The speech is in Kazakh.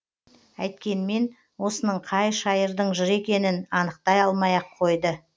әйткенмен осының қай шайырдың жыры екенін анықтай алмай ақ қойды